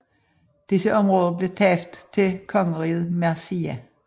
Disse området blev tabt til kongeriget Mercia